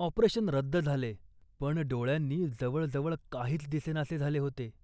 operation रद्द झाले, पण डोळ्यांनी जवळ जवळ काहीच दिसेनासे झाले होते